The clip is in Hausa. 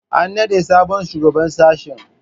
An naɗa sabon shugaban sashe